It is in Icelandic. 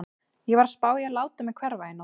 Ég var að spá í að láta mig hverfa í nótt.